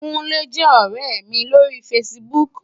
Kunle jè òrè mi lóri fásibúk